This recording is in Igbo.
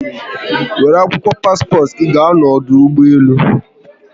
Were akwụkwọ paspọtụ gi gaa n'ọdụ ụgbọelu